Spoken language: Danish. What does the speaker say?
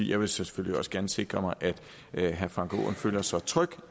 jeg vil selvfølgelig også gerne sikre mig at herre frank aaen føler sig tryg